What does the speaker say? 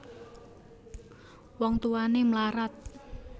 Wong Tuwané mlarat